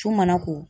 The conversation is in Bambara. Cun mana ko